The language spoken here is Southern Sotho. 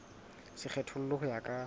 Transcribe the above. se kgethollwe ho ya ka